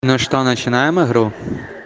ну что начинаем игру